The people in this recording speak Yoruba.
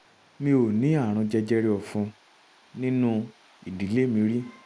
mi ò ní ààrùn jẹjẹrẹ ọ̀fun nínú ìdílé mi rí